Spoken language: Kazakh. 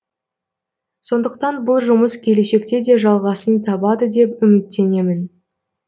сондықтан бұл жұмыс келешекте де жалғасын табады деп үміттенемін